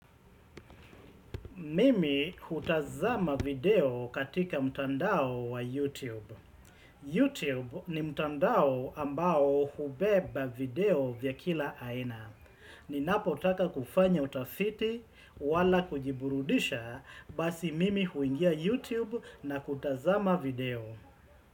Mimi hutazama video katika mtandao wa YouTube. YouTube ni mtandao ambao hubeba video vya kila aina. Ninapotaka kufanya utafiti wala kujiburudisha basi mimi huingia YouTube na kutazama video.